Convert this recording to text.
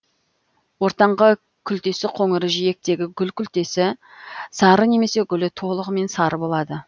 ортаңғы күлтесі қоңыр жиектегі гүл күлтесі сары немесе гүлі толығымен сары болады